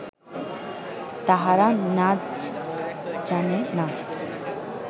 তাহারা নাজ জানে না